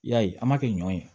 I y'a ye an b'a kɛ ɲɔ ye